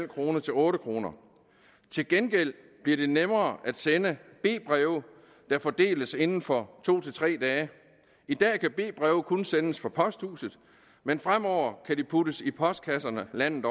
kroner til otte kroner til gengæld bliver det nemmere at sende b breve der fordeles inden for to tre dage i dag kan b breve kun sendes fra posthuset men fremover kan de puttes i postkasserne landet